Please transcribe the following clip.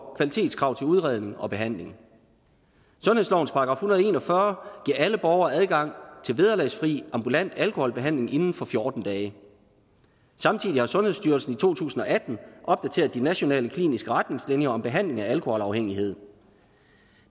kvalitetskrav til udredning og behandling sundhedslovens § en hundrede og en og fyrre giver alle borgere adgang til vederlagsfri ambulant alkoholbehandling inden for fjorten dage samtidig har sundhedsstyrelsen i to tusind og atten opdateret de nationale kliniske retningslinjer om behandling af alkoholafhængighed